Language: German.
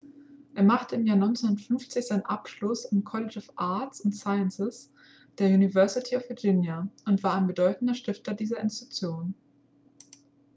er machte im jahr 1950 seinen abschluss am college of arts & sciences der university of virginia und war ein bedeutender stifter dieser institution